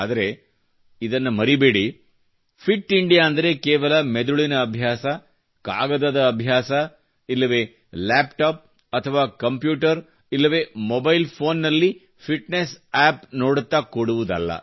ಆದರೆ ಇದನ್ನು ಮರೆಯಬೇಡಿ ಫಿಟ್ ಇಂಡಿಯಾ ಅಂದರೆ ಕೇವಲ ಮೆದುಳಿವ ಅಭ್ಯಾಸ ಕಾಗದದ ಅಭ್ಯಾಸ ಇಲ್ಲವೆ ಲ್ಯಾಪ್ಟಾಪ್ ಅಥವಾ ಕಂಪ್ಯೂಟರ್ ಇಲ್ಲವೆ ಮೊಬೈಲ್ ಫೋನ್ ನಲ್ಲಿ ಫಿಟ್ನೆಸ್ ಯ್ಯಾಪ್ ನೋಡುತ್ತ ಕೂಡುವುದಲ್ಲ